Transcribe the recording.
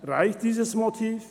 Reicht dieses Motiv?